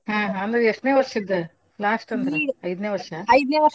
ಹಾ ಅಂದ್ರ್ ಎಸ್ಟನೆೇ ವರ್ಷದ್ದು? last ಅಂದ್ರ ಐದ್ನೇ ವರ್ಷ?